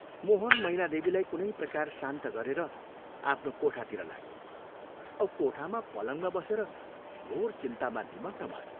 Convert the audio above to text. मोहन मैनादेवीलाई कुनै प्रकार शान्त गरेर आफ्नो कोठातिर लाग्यो औ कोठामा पलङमा बसेर घोर चिन्तामा निमग्न भयो।